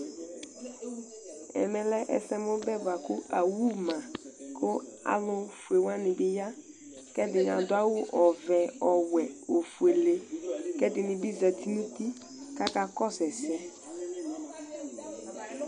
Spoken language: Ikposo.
Ɛmɛ Lɛ ɛsɛmubɛ ku awuma ku alufue wani alu fue wani bi ya ku ɛdini aɖu awu ɔʋɛ ɔwɛ ofuele ku ɛdini bi zati kakakɔsu ɛsɛ